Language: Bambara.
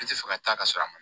I tɛ fɛ ka taa ka sɔrɔ a ma